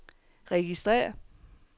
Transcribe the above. registrér